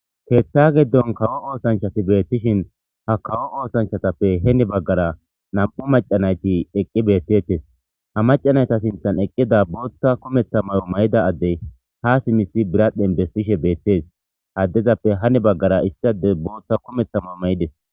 keeththa giddon kawo oosanchati beettishin ha kawo oosanchatappe heni baggara nam7u macanayti eqqi beettettes ha macanayta sintan eqqida bootta kumeta mayo may7ida addey ha simisi biradhdhen bessishe beettees haddezappe hani baggara issi ade bootta kumeta mao may7ides